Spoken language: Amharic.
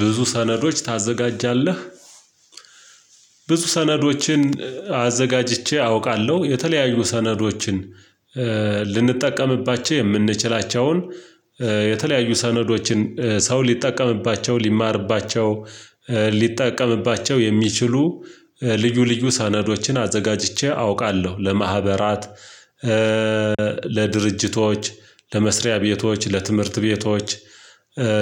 ብዙ ሰነዶች ታዘጋጃለህ? ብዙ ሰነዶችን አዘጋጅቼ አውቃለው የተለያዩ ሰነዶችን ልንጠቀምባቸው የምንችላቸውን የተለያዩ ሰነዶችን ሰው ሊጠቀምባቸው ሊማርባቸው ሊጠቀምባቸው የሚችሉ ልዩ ልዩ ሰናዶችን አዘጋጅቼ አውቃለዉ። ለማህበራት ለድርጅቶች ለመስሪያ ቤቶች ለትምህርት ቤቶች